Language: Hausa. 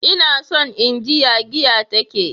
Ina son in ji ya giya ta ke.